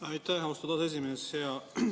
Aitäh, austatud esimees!